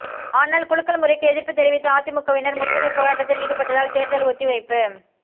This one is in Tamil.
ஆனால் குலுக்கல் முறைக்கு எதிர்ப்பு தெரிவித்து அதிமுகவினர் முற்றுகைப் போராட்டத்தில் ஈடுபட்டதால் தேர்தல் ஒத்திவைப்பு